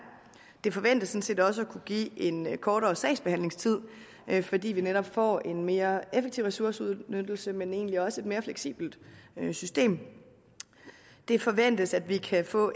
det forventes sådan set også at kunne give en kortere sagsbehandlingstid fordi vi netop får en mere effektiv ressourceudnyttelse men egentlig også et mere fleksibelt system det forventes at vi kan få